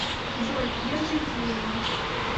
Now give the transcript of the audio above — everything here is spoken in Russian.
джой держите его